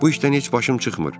Bu işdən heç başım çıxmır.